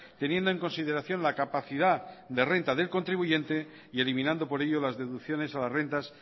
teniendo en consideración la capacidad de renta del contribuyente y eliminando por ello las deducciones a las rentas